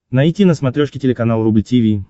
найти на смотрешке телеканал рубль ти ви